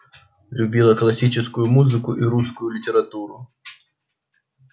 любила классическую музыку и русскую литературу